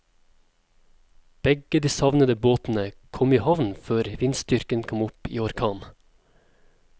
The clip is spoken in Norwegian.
Begge de savnede båtene kom i havn før vindstyrken kom opp i orkan.